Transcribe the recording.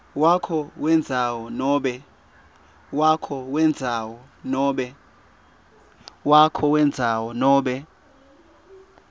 wakho wendzawo nobe